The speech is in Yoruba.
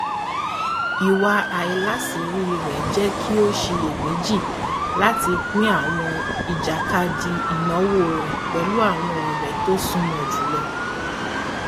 ìwà alásiírí rẹ jẹ kí ó ṣìyẹméjì láti pín àwọn ìjàkadì ìnáwó rẹ pẹlú àwọn ọrẹ tó súnmọ jùlọ